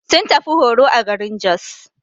Sun tafi horo a garin Jos.